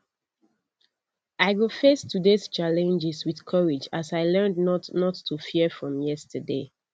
i go face todays challenges with courage as i learned not not to fear from yesterday